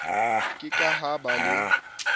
ke ke ha ba le